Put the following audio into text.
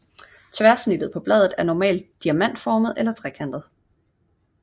Tværsnittet på bladet er normalt diamantformet eller trekantet